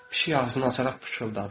Pişik ağzını açaraq pıçıldadı.